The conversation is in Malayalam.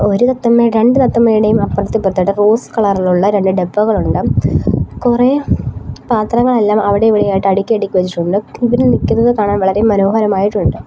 ഒരു തത്തമ്മ രണ്ട് തത്തമ്മയുടേം അപ്പുറത്തും ഇപ്പുറത്തു ആയിട്ട് റോസ് കളറിലുള്ള രണ്ട് ഡബ്ബകളുണ്ട് കുറേ പാത്രങ്ങളെല്ലാം അവിടെയും ഇവിടെയുമായിട്ട് അടുക്കി അടുക്കി വെച്ചിട്ടുണ്ട് ഇവര് നിക്കുന്നത് കാണാൻ വളരെ മനോഹരമായിട്ടുണ്ട്.